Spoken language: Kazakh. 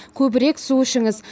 көбірек су ішіңіз